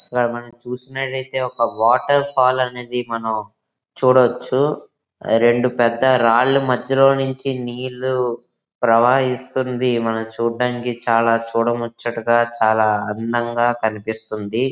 ఇక్కడ మనం చూసినట్లయితే ఒక వాటర్ ఫాల్ అనేది మనము చూడొచ్చు. రెండు పెద్ద రాళ్లు మధ్యలో నుంచి నీళ్లు ప్రవహిస్తుంది. మనము చూడటానికి చాలా చూడ ముచ్చటగా చాలా అందంగా కనిపిస్తుంది.